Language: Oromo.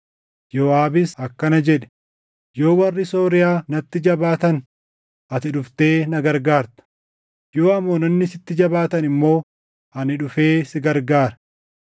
Yooʼaabis akkana jedhe; “Yoo warri Sooriyaa natti jabaatan ati dhuftee na gargaarta; yoo Amoononni sitti jabaatan immoo ani dhufee sin gargaara.